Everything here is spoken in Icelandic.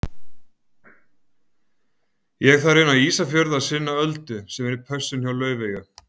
Ég þarf inn á Ísafjörð að sinna Öldu sem er í pössun hjá Laufeyju.